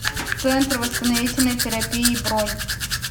центр восстановительной терапии бронь